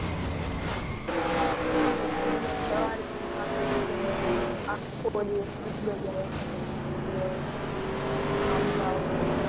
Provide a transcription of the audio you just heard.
આજે મને સવારે ઊંઘ આવતી પછી મને આખો દિવસ આવ્યા કરે. એટલે વાંધો આવતો.